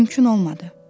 Mümkün olmadı.